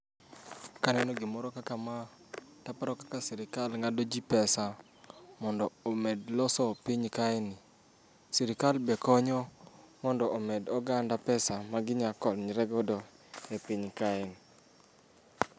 Kaneno gimoro kakama to aparo kaka sirkal ng'ado ji pesa mondo omed loso piny kaeni. Sirkal be konyo mondo omed oganda pesa maginyalo konyore godo e piny kaeni.